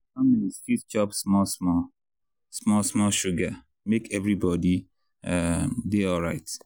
families fit chop small-small small-small sugar make everybody um dey alright.